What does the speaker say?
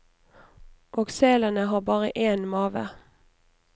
Og selene har bare én mave.